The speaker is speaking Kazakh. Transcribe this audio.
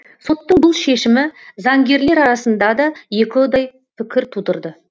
соттың бұл шешімі заңгерлер арасында да екіұдай пікір тудырды